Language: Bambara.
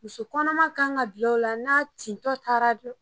Muso kɔnɔman kan ka bi'lo la n'a tintɔ taara don